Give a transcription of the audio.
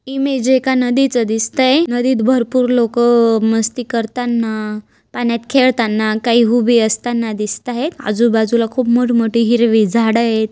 Image एका नदीचं दिसतय नदीत भरपुर लोक मस्ती करताना पाण्यात खेळताना काही उभी असताना दिसत आहेत आजूबाजूला खूप मोठ मोठी हिरवी झाड आहेत.